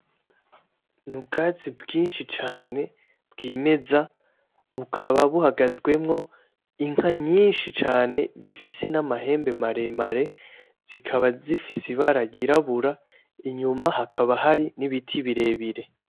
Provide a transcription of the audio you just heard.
Ni ubwatsi bwinshi cane bwimeza, bukaba buhagazwemwo inka myinshi cane zifise n'amahembe maremare zikaba zifise ibara ryirabura, inyuma hakaba hari n'ibiti birebire.